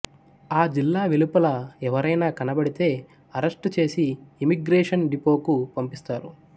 ఆ జిల్లా వెలుపల ఎవరైనా కనబడితే అరెస్టు చేసి ఇమ్మిగ్రేషన్ డిపోకు పంపిస్తారు